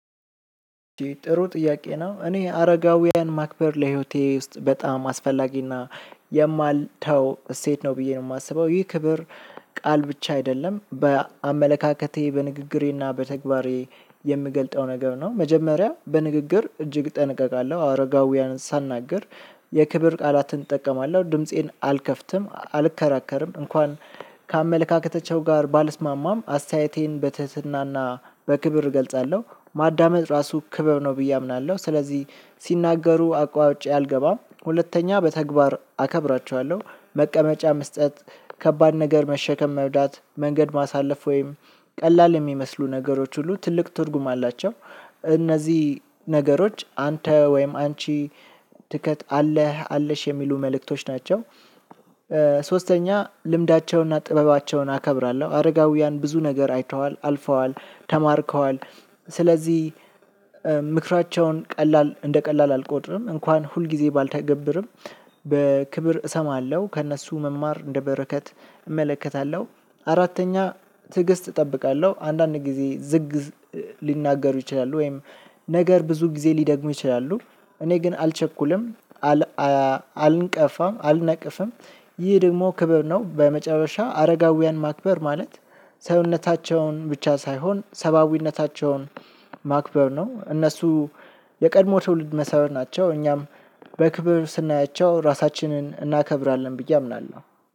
ጥሩ ጥያቄ ነው እኔ አረጋውያን ማክበር ለህይወቴ ውስጥ በጣም አስፈላጊና የማልተው እሴት ነው ብዬ ነው የማስበው ይህ ክብር። ቃል ብቻ አይደለም በአመለካከቴ በንግግሬና በተግባሬ የምገልጠው ነገር ነው። መጀመሪያ በንግግር እጅግ እጠነቀቃለሁ አረጋውያንን ሳናገር የክብር ቃላትን እጠቀማለሁ ድምፄን አልከፍትም አልከራከርም እንኳን ከአመለካከታቸው ጋር ባልስማማም አስተያየቴን በትህትና እና በክብር እገልጻለሁ። ማዳመጥ እራሱ ክብር ነው ብየ አምናለሁ። ስለዚህ አቋርጨ አልገባም ሁለተኛ በተግባር አከብራቸዋለሁ። መቀመጫ መስጠት ከባድ ነገር መሸከም መርዳት መንገድ ማሳለፍ ወይም ቀላል የሚመስሉ ነገሮች ሁሉ ትልቅ ትርጉም አላቸው። እነዚህ ነገሮች አንተ ወይም አንቺ አለህ አለሽ የሚሉ መልእክቶች ናቸው። ሶስተኛ ልምዳቸውንና ጥበባቸውን አከብራለሁ አረጋውያን ብዙ ነገር አይተዋል አልፈዋል ተማርከዋል። ስለዚህ ምክራቸውን ቀላል እንደ ቀላል አልቆጥርም እንኳን ሁልጊዜ ባልተገበርም በክብር እሰማለሁ ከእነሱ መማር እንደ በረከት እመለከታለሁ። አራተኛ ትዕግስት እጠብቃለሁ አንዳንድ ጊዜ ዝግ ሊናገሩ ይችላሉ ወይም ነገር ብዙ ጊዜ ሊደግሙ ይችላሉ እኔ ግን አልቸኩልም። አልንቀፋም አልነቅፍም። ይህ ደግሞ ክብር ነው በመጨረሻ አረጋውያን ማክበር ማለት ሰውነታቸውን ብቻ ሳይሆን ሰብአዊነታቸውን ማክበር ነው። እነሱ የቀድሞ ትውልድ መሰረት ናቸው። እኛም በክብር ስናያቸው ራሳችንን እናከብራለን ብዬ አምናለሁ።